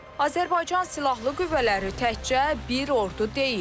Azərbaycan Silahlı Qüvvələri təkcə bir ordu deyil.